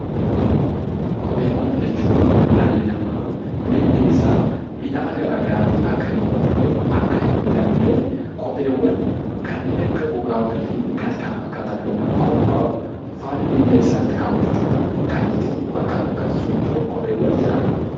Kopheewwan jechuun dhalli namaa miilli isaa miidhama gara garaatiin akka hin hubamneef akka hin miidhamneef kopheewwan kanneen akka gogaa horii fi kan kana fakkaatan irraa qophaa'u faana miilla isaatti kaawwachuu dhaan ittiin bakkaa bakkatti socho'u 'Kopheewwan' jedhama.